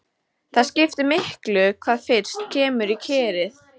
Það skiptir miklu hvað fyrst kemur í kerið.